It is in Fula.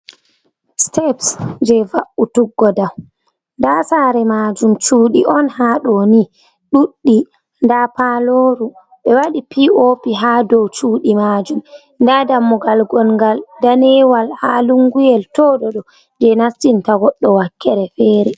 siteps jey va’utuggo, nda saare maajum cuudi on haaɗo ni ɗuudɗi nda paalooru ɓe wadi pop haa dow chuudi maajum nda dammugal gonngal daneewal haa lunguyel tooɗoɗo jey nastinta godɗo wakkere feere.